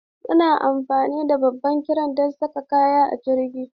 Suna amfani da babban kiren don saka kaya a cikin jirgi.